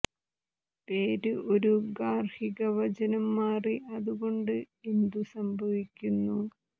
പേര് ഒരു ഗാർഹിക വചനം മാറി അതുകൊണ്ട് എന്തു സംഭവിക്കുന്നു